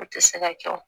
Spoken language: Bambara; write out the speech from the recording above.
O tɛ se ka kɛ o